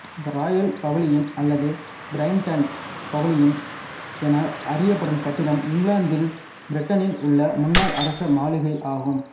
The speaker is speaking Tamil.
ராயல் பவிலியன் அல்லது பிரைட்டன் பவிலியன் என அறியப்படும் கட்டிடம் இங்கிலாந்தின் பிரைட்டனில் உள்ள முன்னாள் அரச மாளிகை ஆகும்